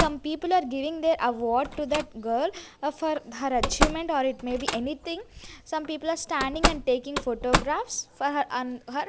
some people are giving their award to that girl for her achievement or it may be anything some people are standing and taking photographs for her and her.